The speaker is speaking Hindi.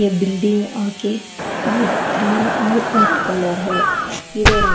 ये बिल्डिंग आके ये क्रीम और रेड कलर है इधर है--